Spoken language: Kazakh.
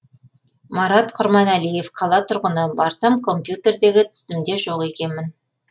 марат құрманәлиев қала тұрғыны барсам компьютердегі тізімде жоқ екенмін